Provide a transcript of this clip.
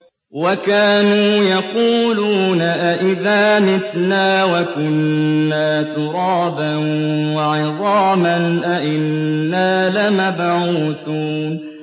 وَكَانُوا يَقُولُونَ أَئِذَا مِتْنَا وَكُنَّا تُرَابًا وَعِظَامًا أَإِنَّا لَمَبْعُوثُونَ